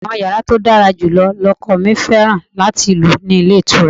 Àwọn yàrá tó dára jù lọ lọkọ mi fẹ́ràn láti lò nílé ìtura.